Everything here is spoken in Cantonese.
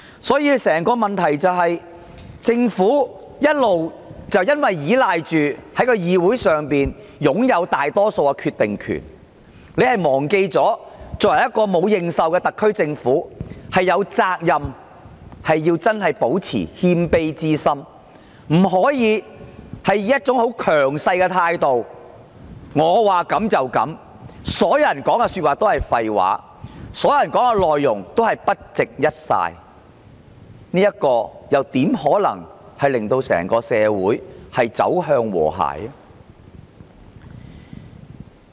所以，問題的癥結是政府一直倚賴它在議會內擁有大多數的決定權，卻忘記一個沒有認受的特區政府真的應保持謙卑之心，不能以一種強勢的態度說了算，其他人說的都是廢話，都不值一哂，這樣又怎可以令到整個社會走向和諧？